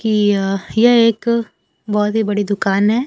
कि य यह एक बहोत ही बड़ी दुकान है।